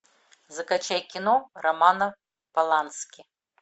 закачай кино романа полански